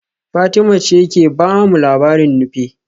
Fatima ce ke ba mu labarin Nupe